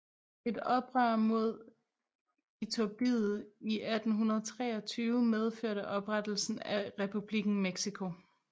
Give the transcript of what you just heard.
Et oprør mod Iturbide i 1823 medførte oprettelsen af Republikken Mexico